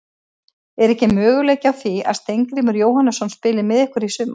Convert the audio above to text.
Er ekki möguleiki á því að Steingrímur Jóhannesson spili með ykkur í sumar?